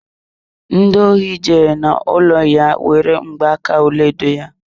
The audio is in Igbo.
Ndi ohi jere n'ụlọ ya were mgba aka ọlaedo ya.